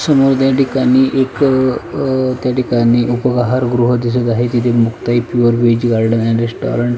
समोर त्या ठिकाणी एक त्या ठिकाणी उपहार गृह दिसत आहे तिथे मुक्ताई प्युअर वेज गार्डन आणि रेस्टॉरंट --